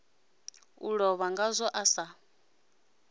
a lovha ngazwo a sa